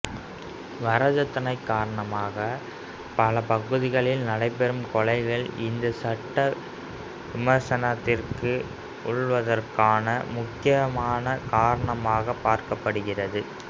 வரதட்சணை காரணத்தினால் பல பகுதிகளில் நடைபெறும் கொலைகள் இந்த சட்டம் விமர்சனத்திற்கு உள்ளாவதற்கான முக்கியமான காரணமாகப் பார்க்கப்படுகிறது